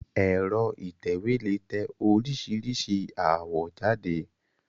Ẹ̀́rọ ìtẹ̀wé lè tẹ oríṣìíríṣìí àwọ̀ jáde.